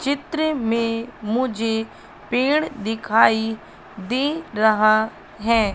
चित्र में मुझे पेड़ दिखाई दे रहा है।